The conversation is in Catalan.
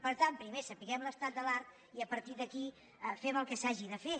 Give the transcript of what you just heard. per tant primer sapiguem l’estat de l’art i a partir d’aquí fem el que s’hagi de fer